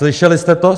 Slyšeli jste to?